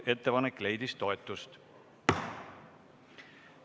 Ettepanek leidis toetust.